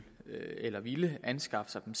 eller ville anskaffe sig dem